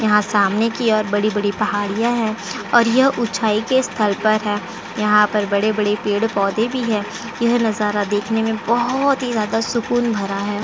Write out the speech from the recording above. यहाँ सामने की ओर बड़ी-बड़ी पहाड़ियाँ हैं और यह ऊंचाई के स्थल पर है। यहाँ पर बड़े-बड़े पेड़ पौधे भी है। यह नजारा देखने में बोहोत ही ज्यादा सुकून भरा है।